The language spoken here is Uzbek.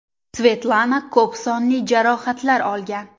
Svetlana ko‘p sonli jarohatlar olgan.